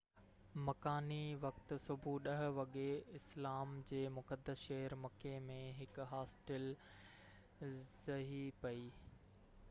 مڪاني وقت صبح 10 وڳي اسلام جي مقدس شهر مڪي ۾ هڪ هاسٽل ڊهي پئي